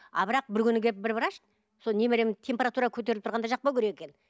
а бірақ бір күні келіп бір врач сол немерем температура көтеріліп тұрғанда жақпау керек екен